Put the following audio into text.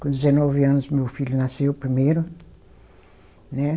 Com dezenove anos meu filho nasceu primeiro, né